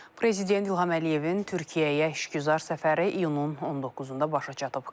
Prezident İlham Əliyevin Türkiyəyə işgüzar səfəri iyunun 19-da başa çatıb.